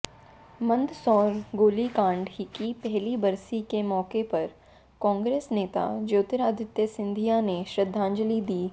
मंदसौर गोलीकांड की पहली बरसी के मौके पर कांग्रेस नेता ज्योतिरादित्य सिंधिया ने श्रद्धांजिल दी